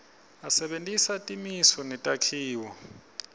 asebentisa timiso netakhiwo